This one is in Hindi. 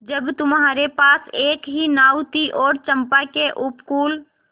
जब तुम्हारे पास एक ही नाव थी और चंपा के उपकूल